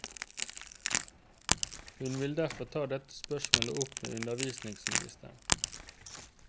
Hun vil derfor ta dette spørsmålet opp med undervisningsministeren.